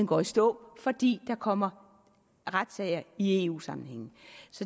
går i stå fordi der kommer retssager i eu sammenhæng